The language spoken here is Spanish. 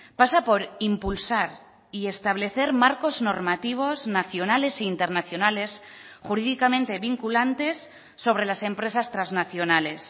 pasa por impulsar y establecer marcos normativos nacionales e internacionales jurídicamente vinculantes sobre las empresas trasnacionales